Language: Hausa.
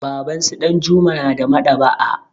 Babansu Ɗanjuma na da Maɗ'aba'a.